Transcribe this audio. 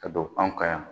Ka don anw ka yan